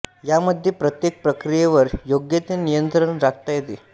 यामध्ये प्रत्येक प्रक्रियेवर योग्य ते नियंत्रण राखता येते